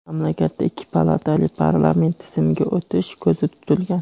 mamlakatda ikki palatali parlament tizimiga o‘tish ko‘zda tutilgan.